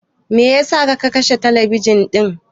Me yasa ka kashe talabijin ɗin?